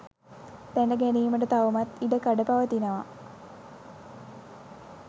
දැන ගැනීමට තවමත් ඉඩ කඩ පවතිනවා.